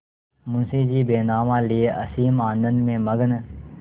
मुंशीजी बैनामा लिये असीम आनंद में मग्न